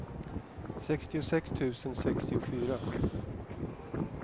sextiosex tusen sextiofyra